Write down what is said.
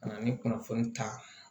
Ka na ni kunnafoni ta